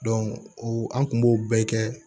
o an kun b'o bɛɛ kɛ